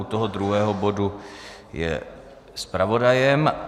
U toho druhého bodu je zpravodajem.